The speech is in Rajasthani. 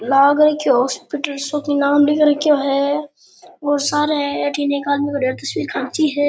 लाग रखो है हॉस्पिटल सो के नाम लिख रखो है और सार अठीन एक आदमी खड़ो है तस्वीर खींची है।